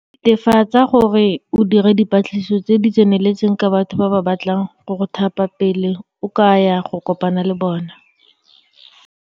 Netefatsa gore o dira dipatlisiso tse di tseneletseng ka batho ba ba batlang go go thapa pele o ka ya go kopana le bona.